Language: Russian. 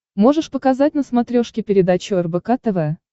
можешь показать на смотрешке передачу рбк тв